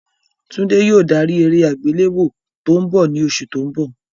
Tunde yóò darí eré àgbéléwò tó ń bọ̀ ní oṣù tó ń bọ̀.